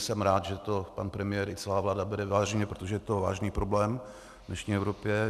Jsem rád, že to pan premiér i celá vláda bere vážně, protože je to vážný problém v dnešní Evropě.